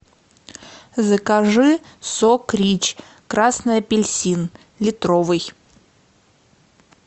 закажи сок рич красный апельсин литровый